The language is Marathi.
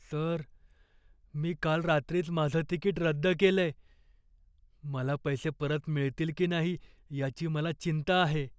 सर, मी काल रात्रीच माझं तिकीट रद्द केलंय. मला पैसे परत मिळतील की नाही याची मला चिंता आहे.